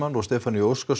og Stefaníu Óskars